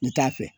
N t'a fɛ